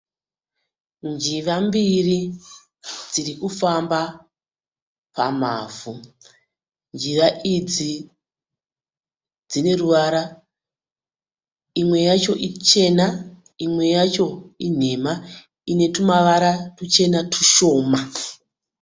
Njiva mbiri dzirikufamba pamavhu. Njiva idzi dzineruvara, imwe yacho ichena, imwe yacho inhemha inetumavara tushoma.